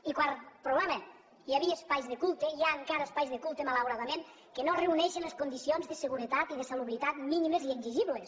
i quart problema hi havia espais de culte hi ha encara espais de culte malauradament que no reuneixen les condicions de seguretat i de salubritat mínimes i exigibles